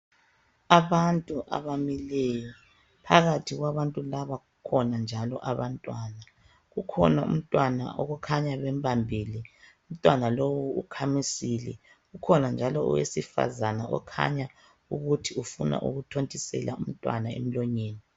Abantu abamileyo phakathi kwabantu laba kukhona njalo abantwana kukhona umntwana okukhanya ukuthi bembambele umntwana lowo ukhamisile kukhona njalo owesifazana okhanya ukuthi ufuna ukuthontisela umntwana emlonyeni.